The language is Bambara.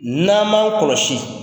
N'an man kɔlɔsi.